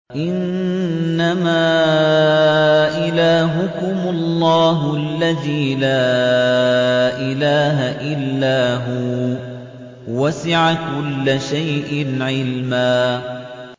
إِنَّمَا إِلَٰهُكُمُ اللَّهُ الَّذِي لَا إِلَٰهَ إِلَّا هُوَ ۚ وَسِعَ كُلَّ شَيْءٍ عِلْمًا